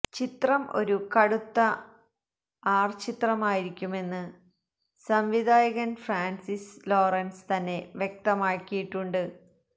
ചിത്രം ഒരു കടുത്ത ആര് ചിത്രമായിരിക്കുമെന്ന് സംവിധായകന് ഫ്രാന്സിസ് ലോറന്സ് തന്നെ വ്യക്തമാക്കിയിട്ടുണ്ട്